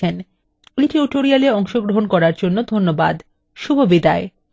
এতে অংশগ্রহন করার জন্য ধন্যবাদ শুভবিদায়